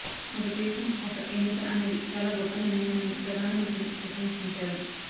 ఒక దేశం ఒక ఎన్నిక అనేది చాలా గొప్ప నిర్ణయమని ప్రధాన మంత్రిని ప్రశంసించారు